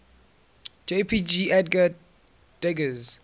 jpg edgar degas